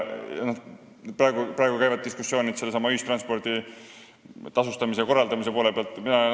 Praegu käivad diskussioonid sellesama ühistranspordi tasude ja korraldamise üle.